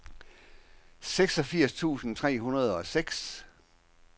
seksogfirs tusind tre hundrede og seks